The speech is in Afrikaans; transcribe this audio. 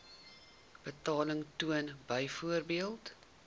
betaling toon byvoorbeeld